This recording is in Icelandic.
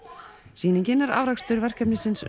sýningin er afrakstur verkefnisins